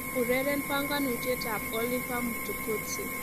Ureren banganyutietab Oliver Mtukudzi